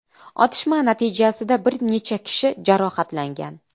Otishma natijasida bir necha kishi jarohatlangan.